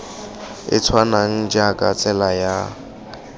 e tshwanang jaaka tsela ya